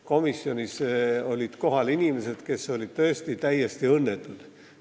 Komisjonis olid kohal inimesed, kes olid tõesti täiesti õnnetud.